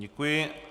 Děkuji.